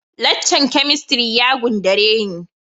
Lacca'n kemistri'n ya gundare me.